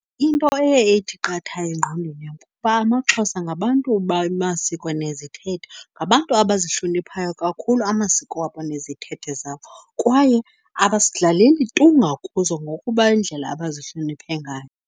Into eye ithi qatha engqondweni yam kukuba amaXhosa ngabantu bamasiko nezithethe. Ngabantu abazihloniphayo kakhulu amasiko wabo nezithethe zabo, kwaye tu ngakuzo ngokuba yindlela abazihloniphe ngayo.